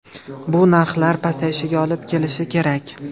Bu narxlar pasayishiga olib kelishi kerak.